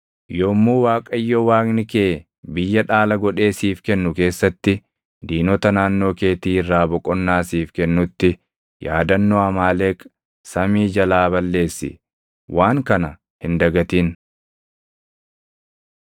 Yommuu Waaqayyo Waaqni kee biyya dhaala godhee siif kennu keessatti diinota naannoo keetii irraa boqonnaa siif kennutti, yaadannoo Amaaleq samii jalaa balleessi. Waan kana hin dagatin!